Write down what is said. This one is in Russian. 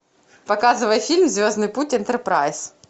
показывай фильм звездный путь энтерпрайз